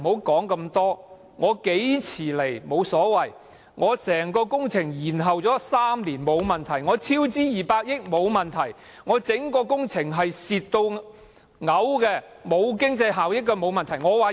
法案何時提交，沒問題；整項工程延後3年，沒問題；超資200億元，沒問題；整項工程嚴重虧損，毫無經濟效益，也沒問題。